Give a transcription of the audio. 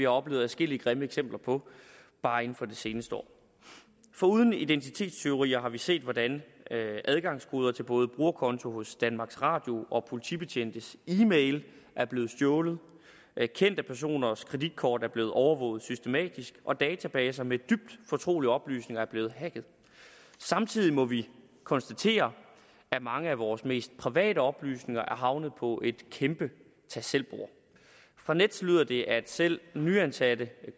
oplevet adskillige grimme eksempler på bare inden for det seneste år foruden identitetstyverier har vi set hvordan adgangskoder til både brugerkonti hos danmarks radio og politibetjentes e mail er blevet stjålet kendte personers kreditkort er blevet overvåget systematisk og databaser med dybt fortrolige oplysninger er blevet hacket samtidig må vi konstatere at mange af vores mest private oplysninger er havnet på et kæmpe tag selv bord fra nets lyder det at selv nyansatte